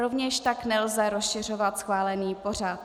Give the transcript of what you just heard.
Rovněž tak nelze rozšiřovat schválený pořad.